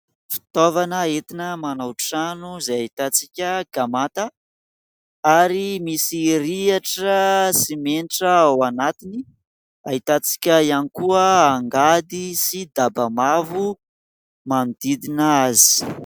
fitaovana etina manao trano izay hahitantsika gamata ary misy riatra sy menitra ao anatiny hahitantsika ihany koa hangady sy dabamavo manodidina azy